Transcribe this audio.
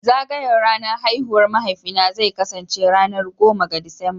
Zagayar ranar haihuwar mahaifina zai kasance ranar goma ga Disamba